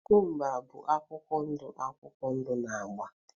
cucumbers bụ akwụkwọ ndụ akwụkwọ ndụ na agba